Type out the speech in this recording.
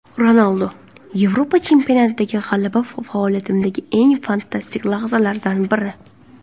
Ronaldu: Yevropa chempionatidagi g‘alaba faoliyatimdagi eng fantastik lahzalardan biri.